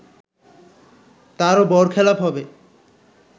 তারও বরখেলাপ হবে